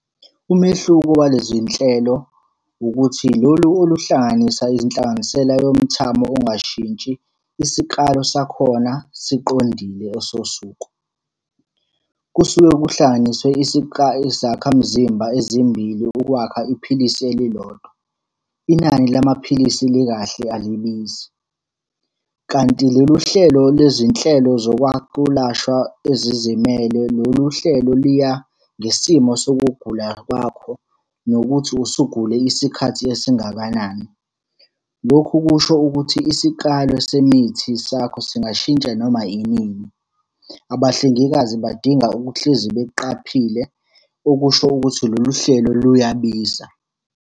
Umehluko walezi nhlelo ukuthi, lolu oluhlanganisa izinhlanganisela yomuthamo ongashintshi, isikalo sakhona siqondile esosuku. Kusuke kuhlanganiswe izakhamzimba ezimbili ukwakha iphilisi elilodwa. Inani lamaphilisi likahle alibizi, kanti lolu hlelo lwezinhlelo zokwelashwa ezizimele lolu hlelo liya ngesimo sokugula kwakho, nokuthi usugule isikhathi esingakanani. Lokhu kusho ukuthi isikalo semithi sakho singashintsha noma yinini. Abahlengikazi badinga ukuhlezi beqaphile, okusho ukuthi lolu hlelo luyabiza.